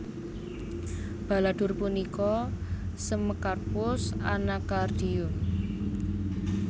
Baladhur punika Semecarpus Anacaardium